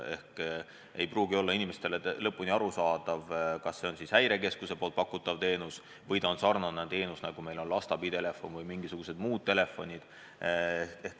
Inimestele ei pruugi olla lõpuni arusaadav, kas see on Häirekeskuse pakutav teenus või ta on samasugune teenus, nagu meil on lasteabitelefon või mingisugused muud telefonid.